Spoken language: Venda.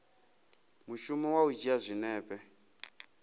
mushumo wa u dzhia zwinepe